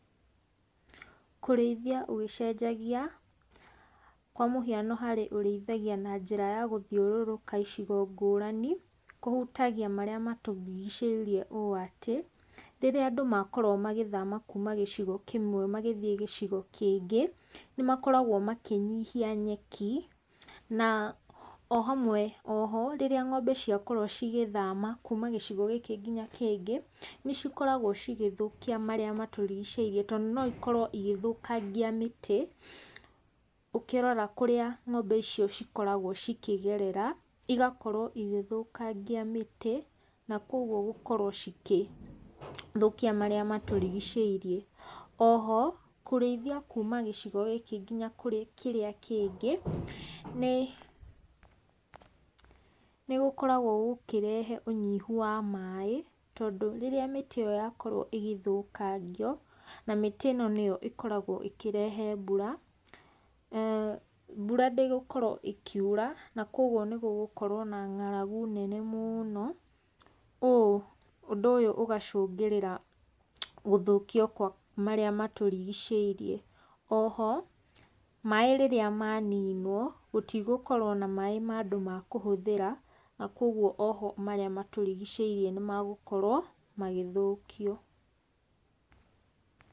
Kũrĩithia ũgĩcenjagia, kwa mũhiano harĩ ũrĩithagia na njĩra ya gũthiũrũrũka icigo ngũrani, kũhũtagia marĩa matũrigicĩirie ũũ atĩ, rĩrĩa andũ makorwo magĩthama kuuma gĩcigo kĩmwe magĩthiĩ gĩcigo kĩngĩ, nĩmakoragwo makĩnyihia nyeki, na oho, rĩrĩa ng'ombe ciakorwo cigĩthama kuuma gĩcigo kĩmwe ngina kĩngĩ, cikoragwo cigĩthũkia marĩa matũrigicĩirie tondũ noikorwo igĩthũkangia mĩtĩ, ũkĩrora kũrĩa ng'ombe icio ikoragwo ikĩgerera, igakorwo igĩthũkangia mĩtĩ, nakoguo igakorwo ikĩthũkia marĩa matũrigicĩirie. Oho, kũrĩithia kuuma gĩcigo gĩkĩ nginya kũrĩ kĩrĩa kĩngĩ, nĩ, gũkoragwo gũkĩrehe ũnyihu wa maaĩ, tondũ rĩrĩa mĩtĩ ĩyo yakorwo ĩgĩthũkangio, na mĩtĩ ĩno nĩyo ĩkoragwo ĩkĩrehe mbura, mbura ndĩgũkorwo ĩkiura, nakoguo nĩgũgũkorwo na ng'aragu nene mũũno, ũũ ũndũ ũyũ ũgacũngĩrĩra gũthũkio kwa marĩa matũrigicĩirie. Oho maaĩ rĩrĩa maninwo, gũtigũkorwo na maaĩ ma andũ makũhũthĩra, nakoguo oho marĩa matũrigicĩirie nĩ megũkorwo magĩthũkio.